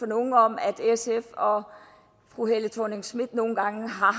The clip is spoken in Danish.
nogen om at sf og fru helle thorning schmidt nogle gange har